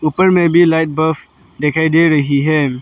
ऊपर में भी लाइट बल्ब दिखाई दे रही है।